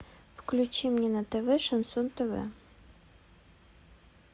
включи мне на тв шансон тв